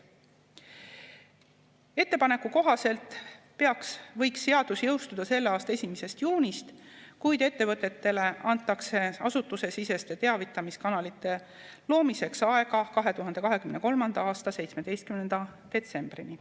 Ettepaneku kohaselt võiks seadus jõustuda selle aasta 1. juunist, kuid ettevõtetele antakse asutusesiseste teavitamiskanalite loomiseks aega 2023. aasta 17. detsembrini.